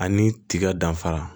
Ani tiga danfara